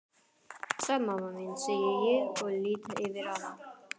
Sæl mamma mín, segi ég og lýt yfir hana.